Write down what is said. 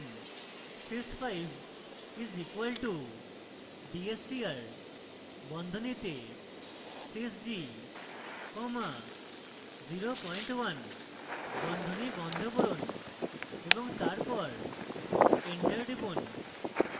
sys 5 is equal to d s c r বন্ধনীতে sys g comma 01 বন্ধনী বন্ধ করুন এবং তারপর enter টিপুন